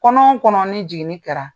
Kɔnɔ kɔnɔ ni jiginni kɛra